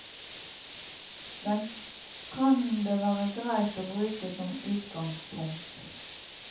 Den kan det være greit å bruke som utgangspunkt.